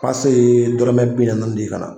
ye dɔrɔmɛ bi naani de ye ka na.